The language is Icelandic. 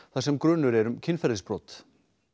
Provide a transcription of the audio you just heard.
þar sem grunur er um kynferðisbrot